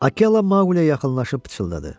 Akela Maqliyə yaxınlaşıb pıçıldadı.